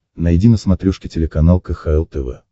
найди на смотрешке телеканал кхл тв